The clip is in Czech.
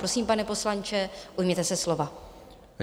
Prosím, pane poslanče, ujměte se slova.